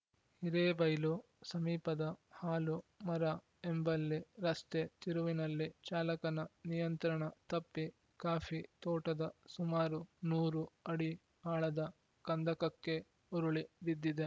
ಹಿರೇಬೈಲು ಸಮೀಪದ ಹಾಲು ಮರ ಎಂಬಲ್ಲಿ ರಸ್ತೆ ತಿರುವಿನಲ್ಲಿ ಚಾಲಕನ ನಿಯಂತ್ರಣ ತಪ್ಪಿ ಕಾಫಿ ತೋಟದ ಸುಮಾರು ನೂರು ಅಡಿ ಆಳದ ಕಂದಕಕ್ಕೆ ಉರುಳಿ ಬಿದ್ದಿದೆ